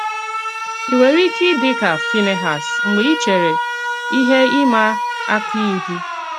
Ì Nwerè íké Ìdị̀ kà Fínèhàs Mgbè Ì Chèrè Íhè ìmà-àkà Ìhù?